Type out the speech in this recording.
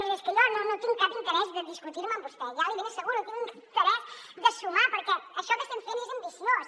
miri és que jo no tinc cap interès de discutir me amb vostè ja l’hi ben asseguro tinc interès de sumar perquè això que estem fent és ambiciós